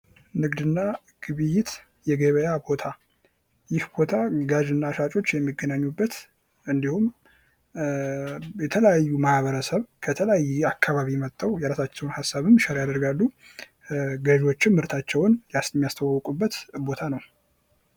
ንግድና ግብይት፦ የገበያ ቦታ ፦ ይህ ቦታ ገጂ እና ሻጮች የሚገናኙበት እንዲሁም የተለያዩ ማህበረሰብ ከተለያየ አካባቢ መጥተው የራሳቸውን ሀሳብም ሼር ያደርጋሉ ፣ ገዢዎችም ምርታቸውን የሚያስተዋወቁበት ቦታ ነው ።